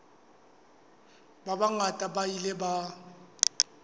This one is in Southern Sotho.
ba bangata ba ile ba